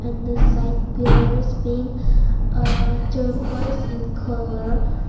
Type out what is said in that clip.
and the side pillars being ah torquoise in colour.